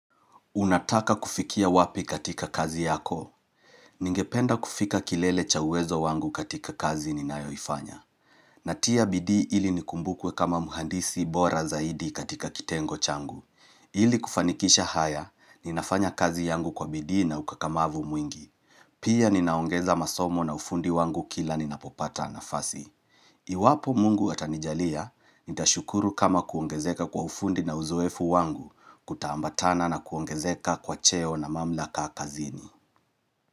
Unataka kufikia wapi katika kazi yako? Ningependa kufika kilele cha uwezo wangu katika kazi ninayoifanya. Natia bidii ili nikumbukwe kama muhandisi bora zaidi katika kitengo changu. Ili kufanikisha haya, ninafanya kazi yangu kwa bidii na ukakamavu mwingi. Pia ninaongeza masomo na ufundi wangu kila ninapopata nafasi. Iwapo mungu atanijalia, nitashukuru kama kuongezeka kwa ufundi na uzoefu wangu kuta ambatana na kuongezeka kwa cheo na mamlaka kazini.